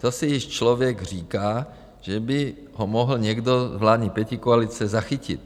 To si již člověk říká, že by ho mohl někdo z vládní pětikoalice zachytit.